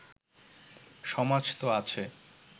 সমাজ তো আছে